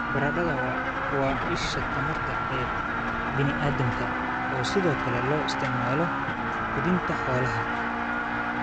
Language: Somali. Baradhada: Waa isha tamarta ee bini'aadamka oo sidoo kale loo isticmaalo quudinta xoolaha.